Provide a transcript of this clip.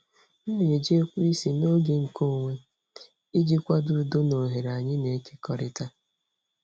M na-eji ekweisi n'oge nkeonwe iji kwado udo na oghere anyị na-ekekọrịta.